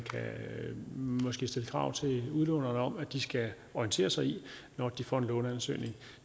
måske kan stille krav til udlånerne om at de skal orientere sig i når de får en låneansøgning